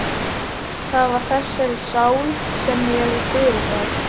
Það var þessari sál sem ég fyrirgaf.